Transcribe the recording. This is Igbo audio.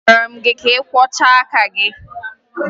Agwara m gị kwọchaa aka gị!